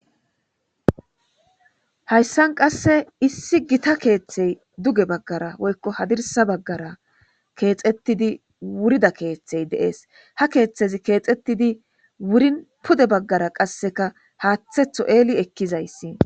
Hayissan qase issi Gita keththeyi duge bagara woyikko hadirsa bagara kexetida wurida keththeyi de'ees.ha keththezzi kexxetid wurin pude bagara qasekka haththetho elli ekizayiss .